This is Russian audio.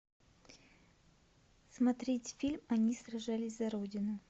смотреть фильм они сражались за родину